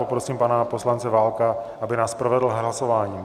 Poprosím pana poslance Válka, aby nás provedl hlasováním.